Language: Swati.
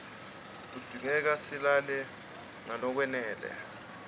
kudzingeka silale ngalokwanele